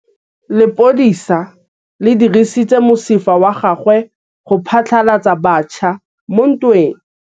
Lepodisa le dirisitse mosifa wa gagwe go phatlalatsa batšha mo ntweng.